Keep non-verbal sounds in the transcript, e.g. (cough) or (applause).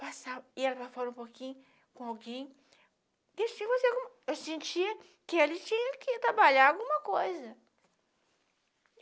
(unintelligible) ia para fora um pouquinho com alguém (unintelligible) e sentia que ele tinha que trabalhar alguma coisa.